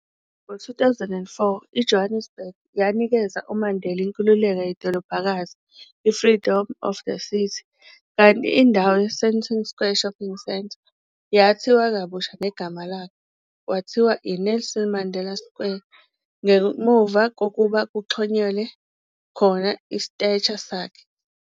Ngo 2004, iJohannesburg, yanikeza uMandela, inkululekko yedolobhakazi i-freedom of the city, kanti indawo ye-Sandton Square shopping centre yathiwa kabusha ngegama lakhe kwathiwa yi-Nelson Mandela Square, ngemuva kokuba kuxhonyelwe khoha i-statue sakhe.